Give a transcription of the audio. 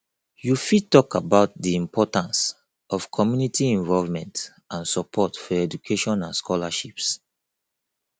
you fit talk about di importance of community involvement and support for education and scholarships